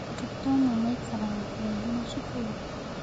Arutwo amwe maikaraga kũraihu na cukuru.